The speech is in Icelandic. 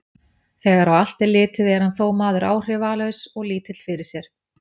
Þegar á allt er litið, er hann þó maður áhrifalaus og lítill fyrir sér.